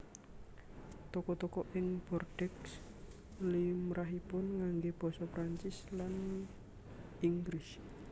Toko toko ing Bordeaux limrahipun nganggé basa Prancis lan Inggris